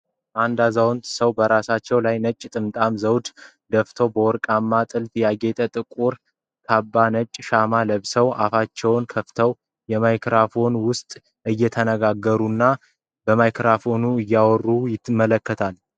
አንድ አዛውንት ሰው በራሳቸው ላይ ነጭ ጥምጣምና ዘውድ ደፍተው፣ በወርቃማ ጥልፍ ያጌጠ ጥቁር ካባ ነጭ ሽማ ለብሰው፣ አፋቸውን ከፍተው በማይክሮፎን ውስጥ እየተናገሩ።